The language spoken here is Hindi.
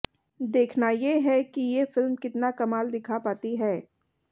देखना ये है कि ये फ़िल्म कितना कमाल दिखा पाती है